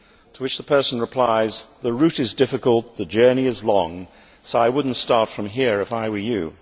To which the person replies, The route is difficult, the journey is long, so I would not start from here if I were you'.